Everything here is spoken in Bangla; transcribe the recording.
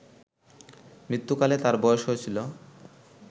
মৃত্যুকালে তাঁর বয়স হয়েছিল